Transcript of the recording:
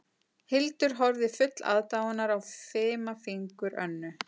Hildur horfði full aðdáunar á fima fingur Önnu